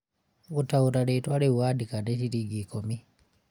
gũtaũra rĩtwa rĩu wandĩka nciringi ikũmi